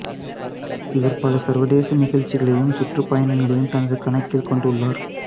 இவர் பல சர்வதேச நிகழ்ச்சிகளையும் சுற்றுப்பயணங்களையும் தனது கணக்கில் கொண்டுள்ளார்